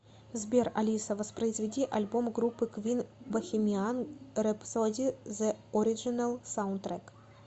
сбер алиса воспроизведи альбом группы квин бохемиан рэпсоди зе ориджинал саундтрек